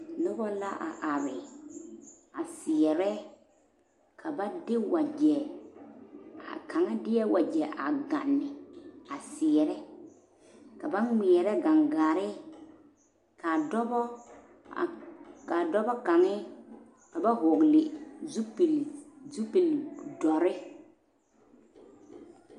Noba la a are a seɛrɛ ka ba de wagye a kaŋa deɛ wagye a ganne a seɛrɛ ka ba ŋmeɛrɛ gaŋgaare ka dɔɔbo a ka dɔɔbo kaŋa ka ba vɔgle zupele zupele doɔre.